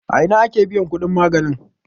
a Ina ake biyan kudin maganin?